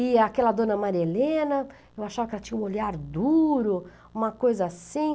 E aquela dona Maria Helena, eu achava que ela tinha um olhar duro, uma coisa assim.